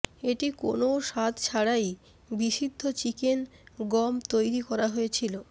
এটি কোনও স্বাদ ছাড়াই বিশুদ্ধ চিকেন গম তৈরি করা হয়েছিল